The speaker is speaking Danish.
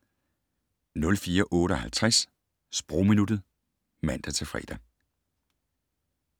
04:58: Sprogminuttet (man-fre)